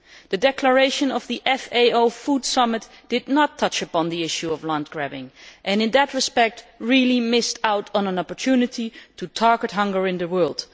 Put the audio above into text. The declaration of the FAO Food Summit did not touch upon the issue of land grabbing and in that respect, really missed out on an opportunity to target hunger in the world.